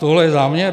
Toto je záměr?